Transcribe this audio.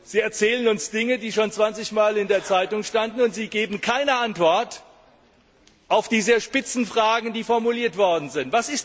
Sie erzählen uns Dinge, die bereits zwanzig Mal in der Zeitung standen, und Sie geben keine Antwort auf die sehr spitzen Fragen, die formuliert worden sind.